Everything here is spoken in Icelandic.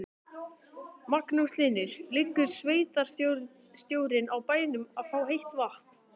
Magnús Hlynur: Liggur sveitarstjórinn á bænum að fá heitt vatn?